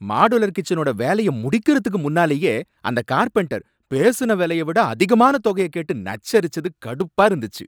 Modular கிட்சனோட வேலைய முடிகிறதுக்கு முன்னாலயே, அந்த கார்பென்டர் பேசுன வேலையவிட அதிகமான தொகைய கேட்டு நச்சரிச்சது கடுப்பா இருந்துச்சு.